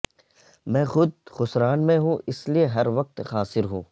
میں خود خسران میں ہوں اس لیے ہر وقت خاسر ہوں